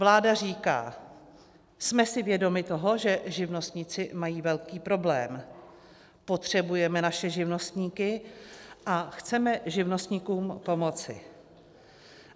Vláda říká: jsme si vědomi toho, že živnostníci mají velký problém, potřebujeme naše živnostníky a chceme živnostníkům pomoci.